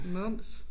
Mums